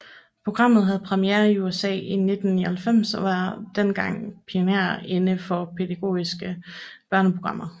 Programmet havde premiere i USA i 1999 og var dengang pionerer inden for pædagogiske børneprogrammer